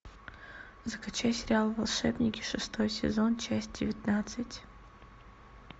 закачай сериал волшебники шестой сезон часть девятнадцать